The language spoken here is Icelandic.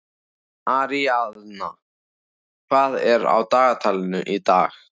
Aríaðna, hvað er á dagatalinu í dag?